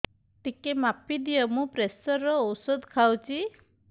ଟିକେ ମାପିଦିଅ ମୁଁ ପ୍ରେସର ଔଷଧ ଖାଉଚି